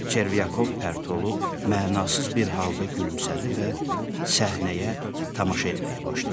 Çervyakov pərt olub mənasız bir halda gülümsədi və səhnəyə tamaşa eləməyə başladı.